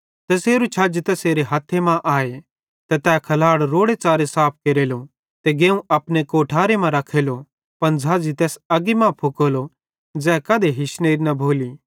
बस्सा तै बड़े रोड़ेच़ारे लोकन समझ़ेइतां परमेशरेरी खुशखबरी शुनातो राव